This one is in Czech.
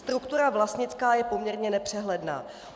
Struktura vlastnická je poměrně nepřehledná."